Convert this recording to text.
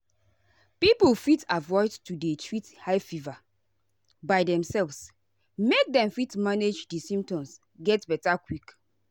people fit avoid to dey treat high fever by demselves make dem fit manage di symptoms get beta quick.